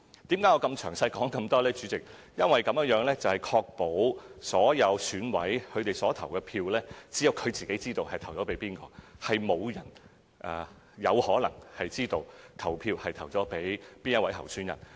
因為我想指出，這樣可以確保只有各選委自己才知道其本身的投票決定，沒有其他人有可能知道他們投給哪位候選人。